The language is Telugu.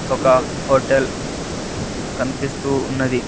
ఒక హోటెల్ కనిపిస్తూ ఉన్నది.